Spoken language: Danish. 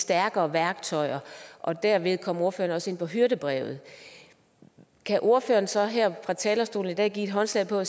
stærkere værktøjer og derved kom ordføreren også ind på hyrdebrevet kan ordføreren så her fra talerstolen i dag give håndslag på